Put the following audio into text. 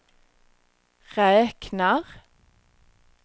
räknar